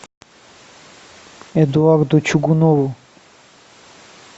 эдуарду чугунову